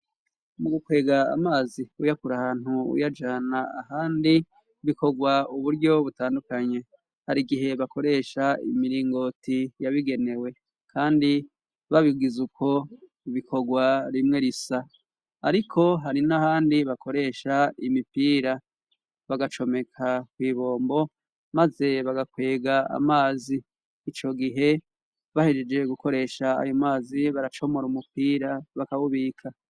Mu gukwega amazi uyakura ahantu uyajana ahandi bikogwa uburyo butandukanye hari gihe bakoresha imiringoti yabigenewe kandi babigiza uko bikogwa rimwe risa ariko hari n'ahandi bakoresha imipira bagacomeka ku ibombo maze bagakwega amazi ico gihe bahejeje gukoresha ayo mazi baracomora umupira bakabubika.